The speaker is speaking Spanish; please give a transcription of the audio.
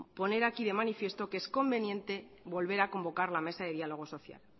poner aquí de manifiesto que es conveniente volver a convocar la mesa de diálogo social